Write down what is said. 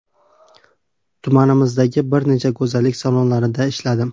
Tumanimizdagi bir nechta go‘zallik salonlarida ishladim.